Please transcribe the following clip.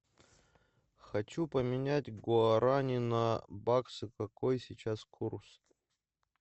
хочу поменять гуарани на баксы какой сейчас курс